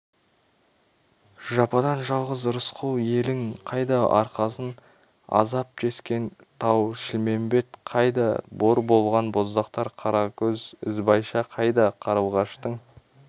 жападан-жалғыз рысқұл елің қайда арқасын азап тескен тау-шілмембет қайда бор болған боздақтар қаракөз ізбайша қайда қарлығаштың